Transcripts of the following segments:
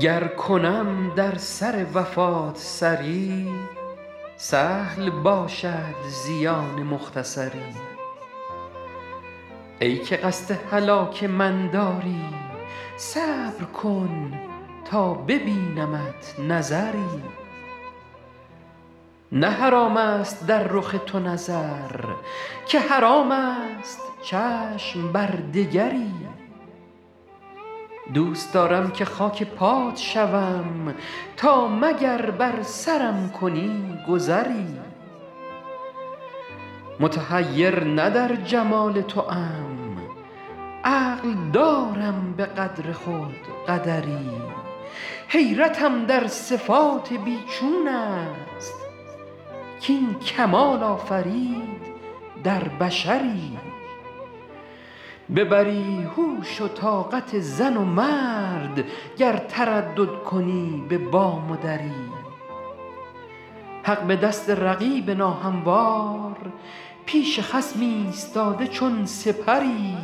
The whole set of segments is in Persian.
گر کنم در سر وفات سری سهل باشد زیان مختصری ای که قصد هلاک من داری صبر کن تا ببینمت نظری نه حرام است در رخ تو نظر که حرام است چشم بر دگری دوست دارم که خاک پات شوم تا مگر بر سرم کنی گذری متحیر نه در جمال توام عقل دارم به قدر خود قدری حیرتم در صفات بی چون است کاین کمال آفرید در بشری ببری هوش و طاقت زن و مرد گر تردد کنی به بام و دری حق به دست رقیب ناهموار پیش خصم ایستاده چون سپری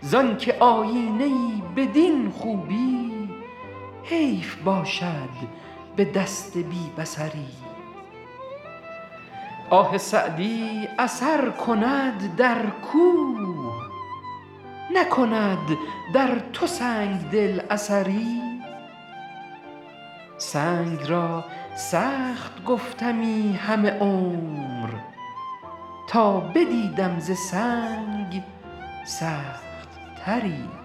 زان که آیینه ای بدین خوبی حیف باشد به دست بی بصری آه سعدی اثر کند در کوه نکند در تو سنگ دل اثری سنگ را سخت گفتمی همه عمر تا بدیدم ز سنگ سخت تری